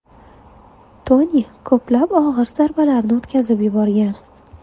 Toni ko‘plab og‘ir zarbalarni o‘tkazib yuborgan.